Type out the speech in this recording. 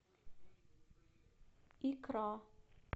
икра